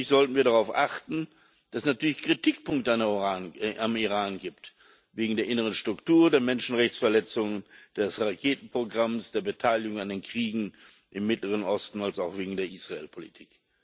Gleichzeitig sollten wir darauf achten, dass es natürlich Kritikpunkte am Iran gibt wegen der inneren Struktur, der Menschenrechtsverletzungen, des Raketenprogramms, der Beteiligung an den Kriegen im Mittleren Osten und wegen der Israelpolitik.